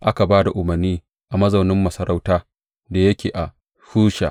Aka ba da umarni a mazaunin masarauta da yake a Shusha.